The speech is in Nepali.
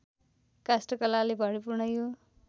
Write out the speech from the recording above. काष्ठकलाले भरिपूर्ण यो